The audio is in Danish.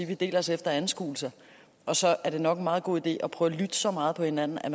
vi deler os efter anskuelser og så er det nok en meget god idé at prøve at lytte så meget på hinanden at